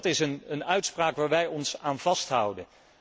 Dat is een uitspraak waar wij ons aan vasthouden.